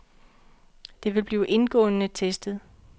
Det vil blive indgående testet.